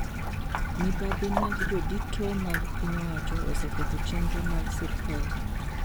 Mibadhi mag jodito mag piny owacho oseketho chendro mag sirkal